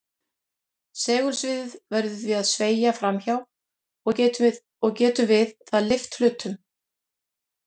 Segulsviðið verður því að sveigja fram hjá og getur við það lyft hlutnum.